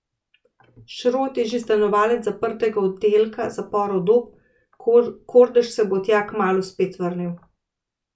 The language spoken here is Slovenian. Šrot je že stanovalec zaprtega oddelka zaporov Dob, Kordež se bo tja kmalu spet vrnil.